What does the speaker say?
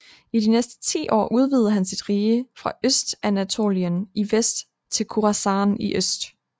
I de næste ti år udvidede han sit rige fra Østanatolien i vest til Khurāsān i øst